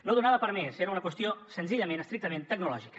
no donava per més era una qüestió senzillament estrictament tecnològica